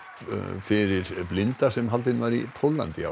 fyrir blinda sem haldin var í Póllandi í ár